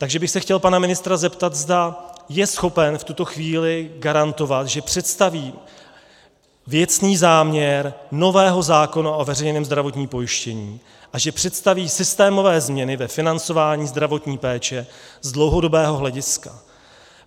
Takže bych se chtěl pana ministra zeptat, zda je schopen v tuto chvíli garantovat, že představí věcný záměr nového zákona o veřejném zdravotním pojištění a že představí systémové změny ve financování zdravotní péče z dlouhodobého hlediska.